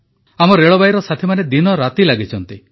ଆମ ରେଳବାଇର ସାଥୀମାନେ ଦିନରାତି ଲାଗିଛନ୍ତି